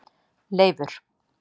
Leifur